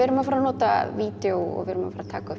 erum að fara að nota vídjó og við erum að fara að taka upp